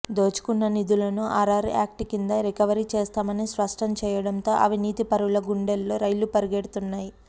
దోచుకున్న నిధులను RR act కింద రికవరీ చేస్తామని స్పష్టం చేయడంతో అవినీతిపరుల గుండెల్లో రైళ్లు పరుగెడుతున్నాయి